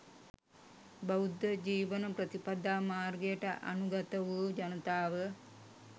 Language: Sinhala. බෞද්ධ ජීවන ප්‍රතිපදා මාර්ගයට අනුගත වූ ජනතාව